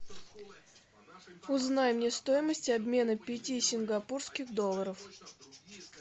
узнай мне стоимость обмена пяти сингапурских долларов